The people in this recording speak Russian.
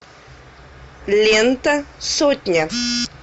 лента сотня